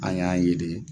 An y'an ye de